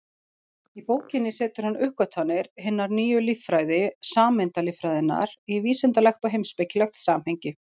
Í bókinni setur hann uppgötvanir hinnar nýju líffræði, sameindalíffræðinnar, í vísindalegt og heimspekilegt samhengi.